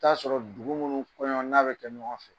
Taa sɔrɔ dugu munnu kɔɲɔ n'a bɛ kɛ ɲɔgɔn fɛ